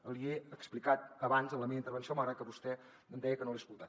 l’hi he explicat abans en la meva intervenció malgrat que vostè em deia que no l’he escoltat